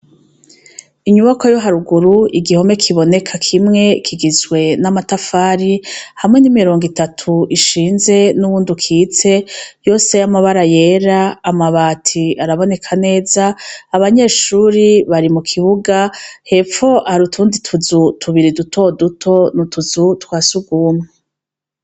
Inyubakwa yo haruguru igihome kiboneka kimwe kigizwe n'amatafari hamwe n'imirongo itatu ishinze n'uwundi ukitse yose y'amabara yera amabati araboneka neza abanyeshure bari mu kibuga hepfo hari utundi tuzu tubiri dutoduto n'utuzu twa s'urwumwe.